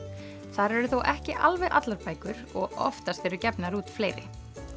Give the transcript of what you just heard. þar eru þó ekki alveg allar bækur og oftast eru gefnar út fleiri